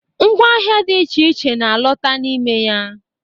Ngwa ahịa dị iche iche na alota n'ime ya.